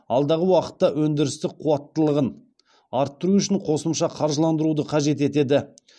алдағы уақытта өндірістік қуаттылығын арттыру үшін қосымша қаржыландыруды қажет етеді